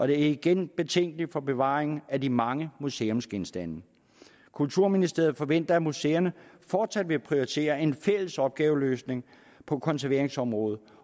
det er igen betænkeligt til bevaringen af de mange museumsgenstande kulturministeriet forventer at museerne fortsat vil prioritere en fælles opgaveløsning på konserveringsområdet